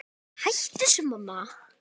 Hættu þessu, mamma!